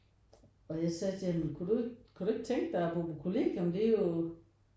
Og jeg sagde til ham kunne du ikke kunne du ikke tænke dig at bo på kolliegium det er jo